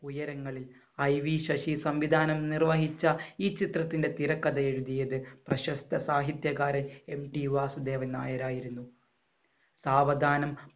ഉയരങ്ങളിൽ. IV ശശി സംവിധാനം നിർവഹിച്ച ഈ ചിത്രത്തിന്‍റെ തിരക്കഥ എഴുതിയത് പ്രശസ്ത സാഹിത്യകാരൻ MT വാസുദേവൻ നായർ ആയിരുന്നു. സാവധാനം